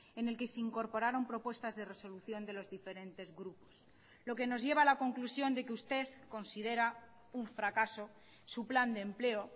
en el que se incorporaron propuestas de resolución de los diferentes grupos lo que nos lleva a la conclusión de que usted considera un fracaso su plan de empleo